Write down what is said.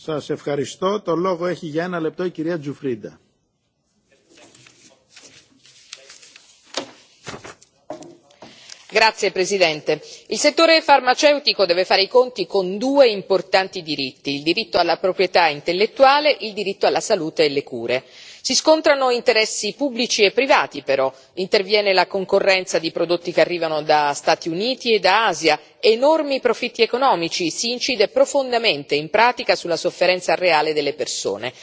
Signor Presidente, onorevoli colleghi, il settore farmaceutico deve fare i conti con due importanti diritti il diritto alla proprietà intellettuale e il diritto alla salute e alle cure. Si scontrano interessi pubblici e privati però, interviene la concorrenza di prodotti che arrivano da Stati Uniti ed Asia, enormi profitti economici, si incide profondamente in pratica sulla sofferenza reale delle persone.